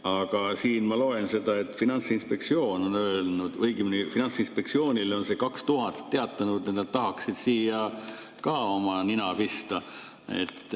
Aga siit ma loen, et Finantsinspektsioon on öelnud või õigemini on Finantsinspektsioonile need 2000 teatanud, et nad tahaksid siia ka oma nina pista.